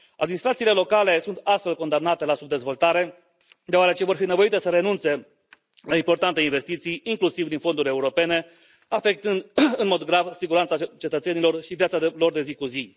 Administrațiile locale sunt astfel condamnate la subdezvoltare, deoarece vor fi nevoite să renunțe la importante investiții, inclusiv din fonduri europene, afectând în mod grav siguranța cetățenilor și viața lor de zi cu zi.